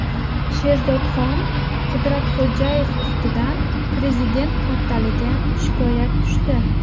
Sherzodxon Qudratxo‘jayev ustidan Prezident portaliga shikoyat tushdi .